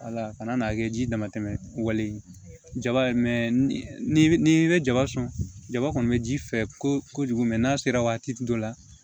Wala kana n'a kɛ ji damatɛmɛ wale ye jaba ye ni i bɛ jaba sɔn jaba kɔni bɛ ji fɛ ko kojugu mɛ n'a sera waati dɔ la